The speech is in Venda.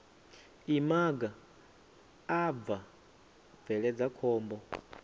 imaga a bva bveledza khombo